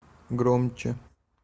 громче